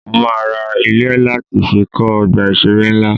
Mo máa ra ilẹ̀ láti fi kọ́ Ọgbà ìṣeré ńlá.